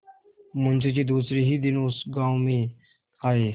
मुँशी जी दूसरे ही दिन उस गॉँव में आये